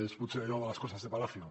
és potser allò de las cosas de palacio